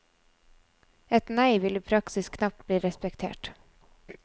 Et nei vil i praksis knapt bli respektert.